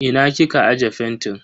Ina kika aje fentin.